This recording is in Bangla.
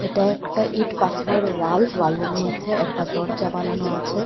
এটা একটা ইট পাথরের ওয়াল ওয়ালের মধ্যে একটা দরজা বানানো আছে।